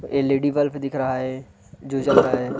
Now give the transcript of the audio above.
LED bulb दिख रहा है जो जल रहा हैं।